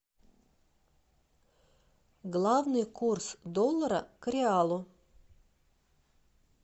главный курс доллара к реалу